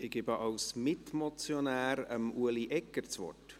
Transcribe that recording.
Ich gebe als Mitmotionär Ueli Egger das Wort.